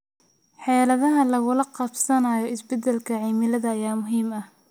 Xeeladaha lagula qabsanayo isbeddelka cimilada ayaa muhiim ah.